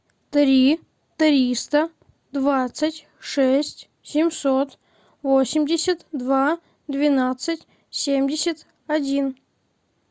три триста двадцать шесть семьсот восемьдесят два двенадцать семьдесят один